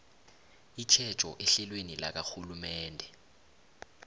itjhejo ehlelweni lakarhulumende